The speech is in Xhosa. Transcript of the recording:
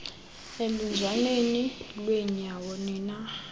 eluzwaneni lwenyawo nina